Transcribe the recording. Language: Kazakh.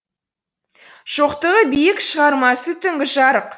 шоқтығы биік шығармасы түнгі жарық